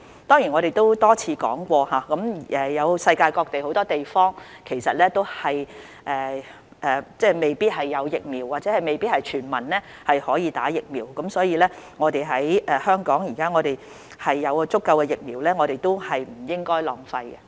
當然，我們已多次指出，世界各地很多地方未必有疫苗或未必可以全民接種，所以既然香港有足夠的疫苗，我們不應該浪費。